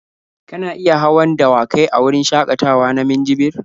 Kana iya hawan dawakai a wurin shakatawa na minjibir.